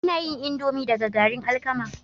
Ana yin indomie daga garin alkama